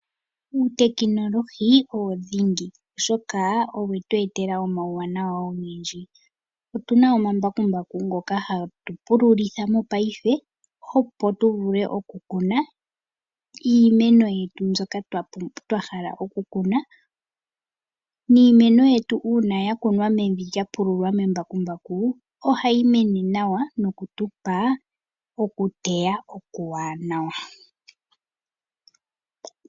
Uutekinolohi owo dhingi, oshoka owe tu etela omauwanawa ogendji. Otu na omambakumbaku ngoka hatu pululitha mopaife, opo tu vule oku kuna iimeno yetu mbyoka twa hala oku kuna. Niimeno yetu uuna ya kunwa mevi lya pululwa kembakumbaku, ohayi mene nawa noku tupa oku teya okuwaanawa.